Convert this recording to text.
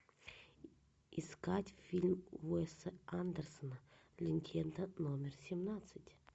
искать фильм уэса андерсона легенда номер семнадцать